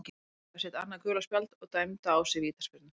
Hann fékk þá sitt annað gula spjald og dæmda á sig vítaspyrnu.